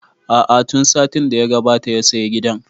A'a tun satin da ya gabata ya saya gidan